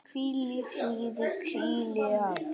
Hvíl í friði, Krilli afi.